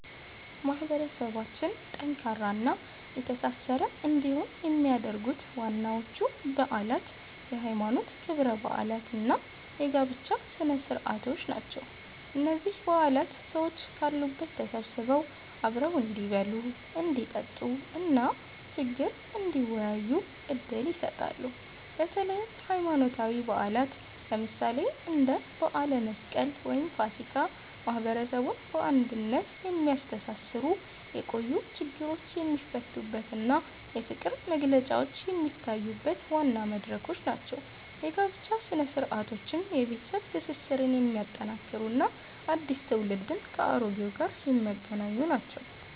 ማህበረሰባችን ጠንካራና የተሳሰረ እንዲሆን የሚያደርጉት ዋናዎቹ በዓላት የሃይማኖት ክብረ በዓላት እና የጋብቻ ስነ-ስርዓቶች ናቸው። እነዚህ በዓላት ሰዎች ካሉበት ተሰብስበው አብረው እንዲበሉ፣ እንዲጠጡ እና ችግር እንዲወያዩ ዕድል ይሰጣሉ። በተለይም ሃይማኖታዊ በዓላት፣ ለምሳሌ እንደ በዓለ መስቀል ወይም ፋሲካ፣ ማህበረሰቡን በአንድነት የሚያስተሳስሩበት፣ የቆዩ ችግሮች የሚፈቱበት እና የፍቅር መግለጫዎች የሚታዩበት ዋና መድረኮች ናቸው። የጋብቻ ሥነ-ስርዓቶችም የቤተሰብ ትስስርን የሚያጠናክሩ እና አዲስ ትውልድን ከአሮጌው ጋር የሚያገናኙ ናቸው።